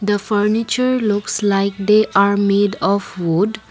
the furniture looks like they are made of wood.